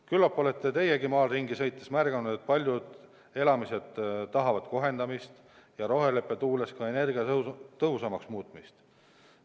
Küllap olete teiegi maal ringi sõites märganud, et paljud elamised tahavad kohendamist ja roheleppe tuules ka energiatõhusamaks muutmist.